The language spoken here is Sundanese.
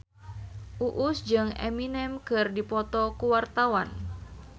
Uus jeung Eminem keur dipoto ku wartawan